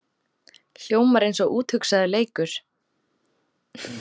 Hljómar eins og úthugsaður leikur